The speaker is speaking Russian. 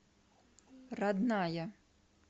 родная